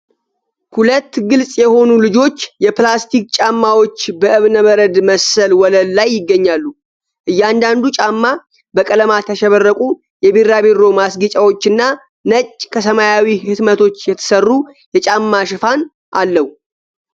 ሁለት ግልፅ የሆኑ ልጆች የፕላስቲክ ጫማዎች በእብነበረድ መሰል ወለል ላይ ይገኛሉ። እያንዳንዱ ጫማ በቀለማት ያሸበረቁ የቢራቢሮ ማስጌጫዎችና ነጭ ከሰማያዊ ህትመቶች የተሰሩ የጫማ ሽፋን አለው።